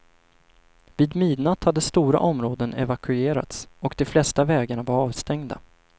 Vid midnatt hade stora områden evakuerats och de flesta vägarna var avstängda.